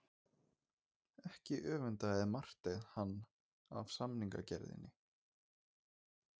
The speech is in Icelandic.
Ekki öfundaði Marteinn hann af samningagerðinni.